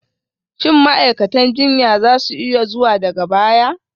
Shin ma'aikatan jinya za su iya zuwa daga baya?